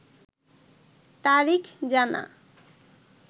তারিখ জানা